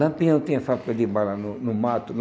Lampião tinha papel de bala no no mato?